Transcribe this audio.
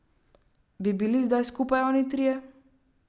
Bi bili zdaj skupaj oni trije?